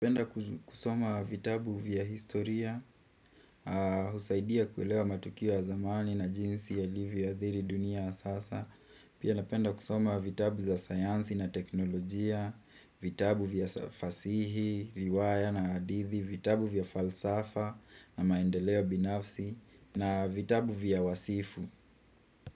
Napenda kusoma vitabu vya historia, husaidia kuelewa matukio ya zamani na jinsi yalivyoadhiri dunia ya sasa. Pia napenda kusoma vitabu za sayansi na teknolojia, vitabu vya fasihi, riwaya na hadithi, vitabu vya falsafa na maendeleo binafsi, na vitabu vya wasifu.